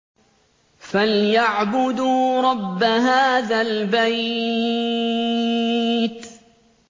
فَلْيَعْبُدُوا رَبَّ هَٰذَا الْبَيْتِ